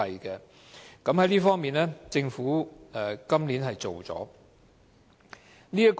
在這方面，政府今年做到了。